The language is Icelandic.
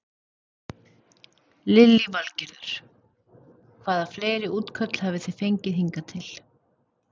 Lillý Valgerður: Hvaða fleiri útköll hafi þið fengið hingað til?